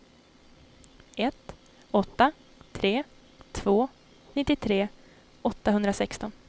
ett åtta tre två nittiotre åttahundrasexton